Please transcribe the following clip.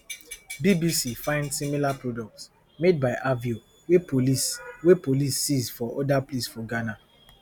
bbc find similar products made by aveo wey police wey police seize for oda place for ghana